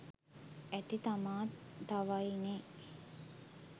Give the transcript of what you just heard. ඇති තමා තව යි නෙ